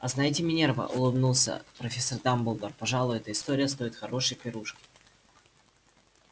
а знаете минерва улыбнулся профессор дамблдор пожалуй эта история стоит хорошей пирушки